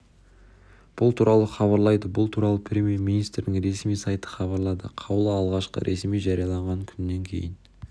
бұл туралы хабарлайды бұл туралы премьер министрдің ресми сайты хабарлады қаулы алғашқы ресми жарияланған күнінен кейін